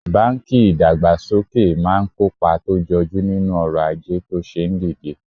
banki idagbasoke maa n kopa to joju ninu oro aje to se ndide